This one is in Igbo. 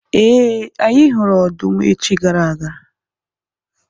Ee, anyị hụrụ ọdụm echi gara aga.